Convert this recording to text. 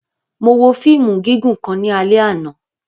Mo wo fiimu gigun kan ni alẹ ana.